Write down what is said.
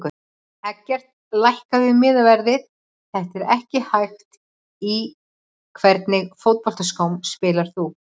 Eggert lækkaðu miðaverðið þetta er ekki hægt Í hvernig fótboltaskóm spilar þú?